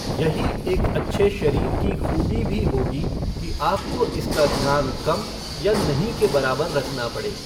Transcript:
यही एक अच्छे शरीर की खू़बी भी होगी कि आपको इसका ध्यान कम या नहीं के बराबर रखना पड़े।